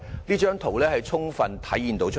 這張圖片已充分體現出來。